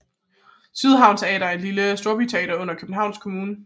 Sydhavn Teater er et lille storbyteater under Københavns Kommune